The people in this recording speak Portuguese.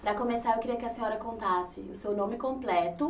Para começar, eu queria que a senhora contasse o seu nome completo.